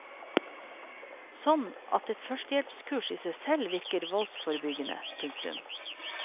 Sånn at et førstehjelpskurs i seg selv virker voldsforebyggende. punktum